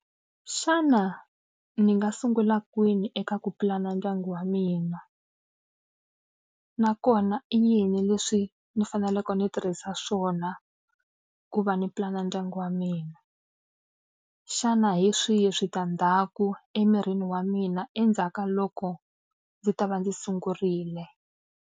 Xana ni nga sungula kwini eka ku pulana ndyangu wa mina? Nakona i yini leswi ni faneleke ni tirhisa swona ku va ni pulana ndyangu wa mina? Xana hi swihi switandzhaku emirini wa mina endzhaku ka loko ndzi ta va ndzi sungurile?